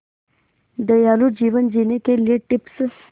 दयालु जीवन जीने के लिए टिप्स